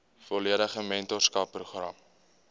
volledige mentorskap program